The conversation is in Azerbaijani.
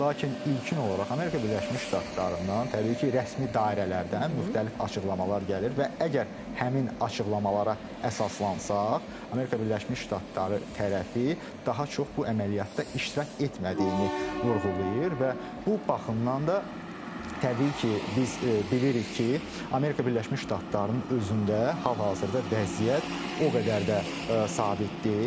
Lakin ilkin olaraq Amerika Birləşmiş Ştatlarından, təbii ki, rəsmi dairələrdən müxtəlif açıqlamalar gəlir və əgər həmin açıqlamalara əsaslansa, Amerika Birləşmiş Ştatları tərəfi daha çox bu əməliyyatda iştirak etmədiyini vurğulayır və bu baxımdan da təbii ki, biz bilirik ki, Amerika Birləşmiş Ştatlarının özündə hal-hazırda vəziyyət o qədər də sabit deyil.